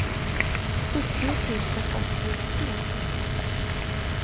sjuttio tusen åttiotre